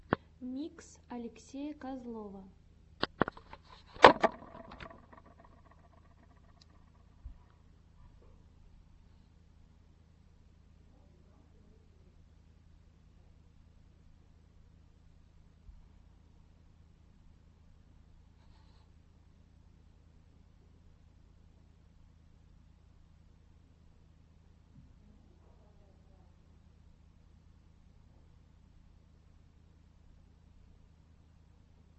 микс алексея козлова